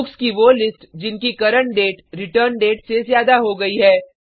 books की वो list जिनकी करंट डेट रिटर्न डेट से ज़्यादा हो गयी है